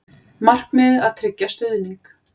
Markmiðið að tryggja stuðning